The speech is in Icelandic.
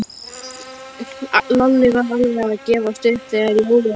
Lalli var alveg að gefast upp þegar Jói hrópaði